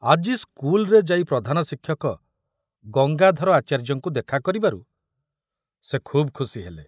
ଆଜି ସ୍କୁଲରେ ଯାଇ ପ୍ରଧାନ ଶିକ୍ଷକ ଗଙ୍ଗାଧର ଆଚାର୍ଯ୍ୟଙ୍କୁ ଦେଖା କରିବାରୁ ସେ ଖୁବ ଖୁସି ହେଲେ।